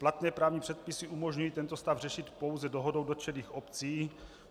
Platné právní předpisy umožňují tento stav řešit pouze dohodou dotčených obcí.